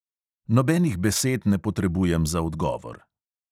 Nobenih besed ne potrebujem za odgovor.